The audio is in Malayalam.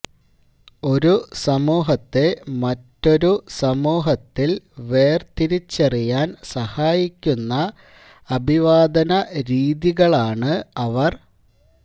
ഒരു സമൂഹത്തെ മറ്റൊരു സമൂഹത്തിൽ വേർതിരിച്ചറിയാൻ സഹായിക്കുന്ന അഭിവാദന രീതികളാണ് അവർ